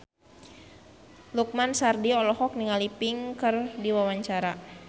Lukman Sardi olohok ningali Pink keur diwawancara